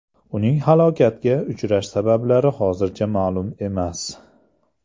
Uning halokatga uchrashi sabablari hozircha ma’lum emas.